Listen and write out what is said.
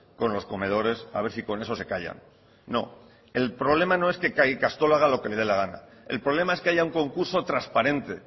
con los comedores a ver si con ello se callan no el problema no es que cada ikastola haga lo que le dé la gana el problema es que haya un concurso transparente